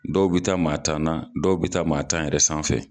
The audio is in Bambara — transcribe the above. Dɔw bɛ taa maa tan na dɔw bɛ taa maa tan yɛrɛ sanfɛ.